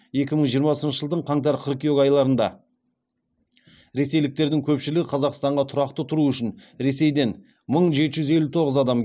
екі мың жиырмасыншы жылдың қаңтар қыркүйек айларында ресейліктердің көпшілігі қазақстанға тұрақты тұру үшін ресейден мың жеті жүз елу тоғыз адам